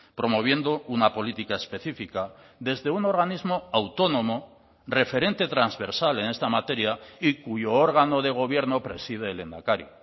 promoviendo una política específica desde un organismo autónomo referente transversal en esta materia y cuyo órgano de gobierno preside el lehendakari